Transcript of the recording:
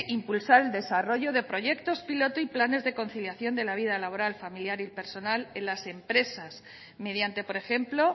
impulsar el desarrollo de desarrollo de proyectos piloto y planes de conciliación de la vida laboral familiar y personal en las empresas mediante por ejemplo